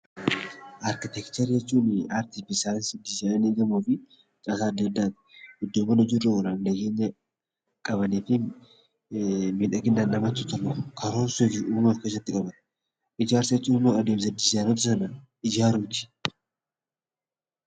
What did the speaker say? Arkiteekcharii jechuun aartii fi saayinsii dizaayinii gamooti. Caasaan addaa addaan iddoowwan hojii irra oolan kan qabanii fi miidhaginaan kan hojjatamaniidha . Ijaarsa jechuun immoo adeemsa diizaayiniitiin ijaarsa sana ijaaruuti.